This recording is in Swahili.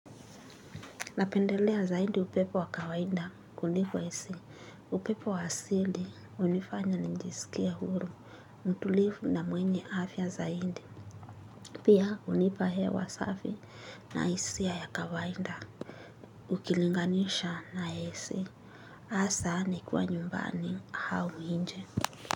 Napendelea zaidi upepo wa kawaida kuliko AC. Upepo wa asidi, unifanya njisikie huru. Mtulifu na mwenye afya zaidi. Pia, unipa hewa safi. Na hisia ya kawaida. Ukilinganisha na esi. Asa, nikiwa nyumbani, hau inje.